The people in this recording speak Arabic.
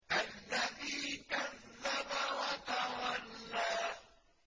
الَّذِي كَذَّبَ وَتَوَلَّىٰ